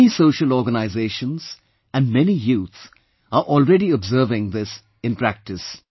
Many social organizations and many youth are already observing this in practice